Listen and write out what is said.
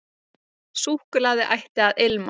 Súkkulaði ætti að ilma.